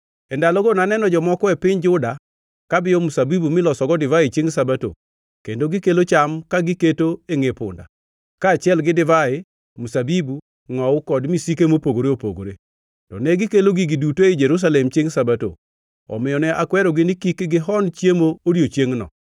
E ndalogo naneno jomoko e piny Juda kabiyo mzabibu milosogo divai chiengʼ Sabato kendo gikelo cham ka giketo e ngʼe punda, kaachiel gi divai, mzabibu, ngʼowu kod misike mopogore opogore. To negikelo gigi duto ei Jerusalem chiengʼ Sabato. Omiyo ne akwerogi ni kik gihon chiemo odiechiengʼno.